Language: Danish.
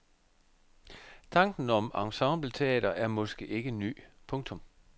Tanken om ensembleteater er måske ikke ny. punktum